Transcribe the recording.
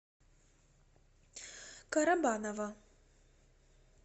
карабаново